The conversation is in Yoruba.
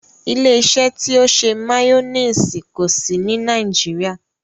Ìlẹ̀-ìṣẹ̀ ti o ṣẹ mayonnaise kò sí ní Nàìjíríà.